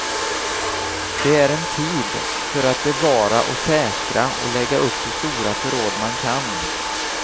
Det är en tid för att bevara och säkra och lägga upp så stora förråd man kan.